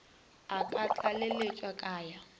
a ka tlaleletša ka ya